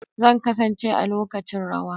Zan kasance a lokacin rawa.